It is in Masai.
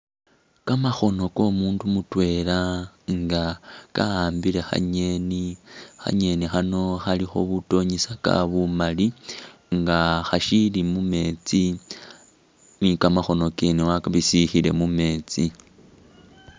Kamakhono komundu mutwela nga ka'ambile kha'ngeni, kha'ngeni khano khalikhakho butonyisaka bumaali nga khashili mumeetsi ni kamakhono kene wabisikhile mumeetsi